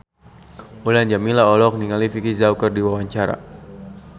Mulan Jameela olohok ningali Vicki Zao keur diwawancara